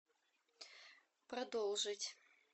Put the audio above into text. продолжить